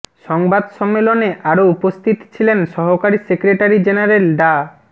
সংবাদ সম্মেলনে আরও উপস্থিত ছিলেন সহকারী সেক্রেটারী জেনারেল ডা